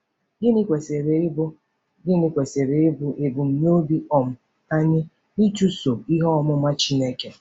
Gịnị kwesịrị ịbụ Gịnị kwesịrị ịbụ ebumnobi um anyị n'ịchụso ihe ọmụma Chineke?